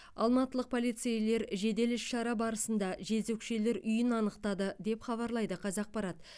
алматылық полицейлер жедел іс шара барысында жезөкшелер үйін анықтады деп хабарлайды қазақпарат